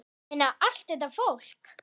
Ég meina, allt þetta fólk!